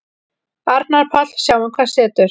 Arnar Páll: Sjáum hvað setur.